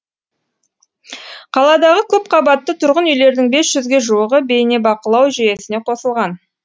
қаладағы көпқабатты тұрғын үйлердің бес жүзге жуығы бейнебақылау жүйесіне қосылған